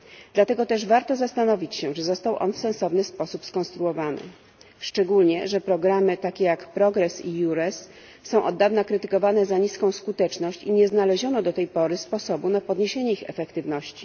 Dlatego też warto zastanowić się, czy został on w sensowny sposób skonstruowany, szczególnie, że programy takie jak Progress i EURES są od dawna krytykowane za niską skuteczność i nie znaleziono do tej pory sposobu na podniesienie ich efektywności.